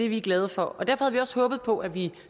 vi glade for derfor havde vi også håbet på at vi